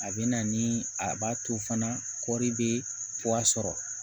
A bɛ na ni a b'a to fana kɔri bɛ sɔrɔ